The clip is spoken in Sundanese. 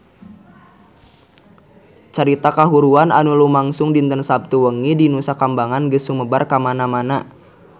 Carita kahuruan anu lumangsung dinten Saptu wengi di Nusa Kambangan geus sumebar kamana-mana